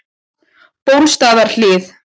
Bólstaðarhlíð